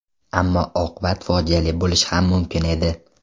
Ammo oqibat fojiali bo‘lishi ham mumkin edi.